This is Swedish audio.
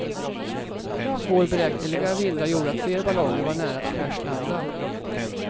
Svårberäkneliga vindar gjorde att flera ballonger var nära att kraschlanda.